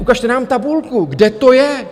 Ukažte nám tabulku, kde to je?